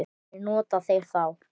Hverjir njóta þeirra þá?